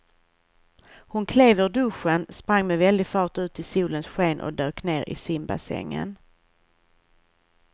Hon klev ur duschen, sprang med väldig fart ut i solens sken och dök ner i simbassängen.